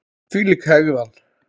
Þvílík hegðan!